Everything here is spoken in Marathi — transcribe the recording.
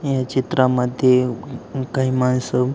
या चित्रा मध्ये काही मानस--